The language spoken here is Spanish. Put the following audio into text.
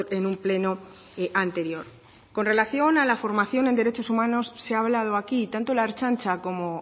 en un pleno anterior con relación a la formación en derechos humanos se ha hablado aquí tanto la ertzaintza como